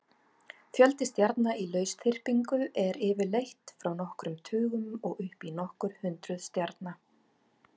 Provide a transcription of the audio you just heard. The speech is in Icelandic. Fjöldi stjarna í lausþyrpingu er yfirleitt frá nokkrum tugum og upp í nokkur hundruð stjarna.